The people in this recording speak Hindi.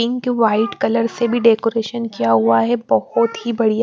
पिंक व्हाईट कलर से भी डेकोरेशन किया हुआ है बहुत ही बढ़ियाँ।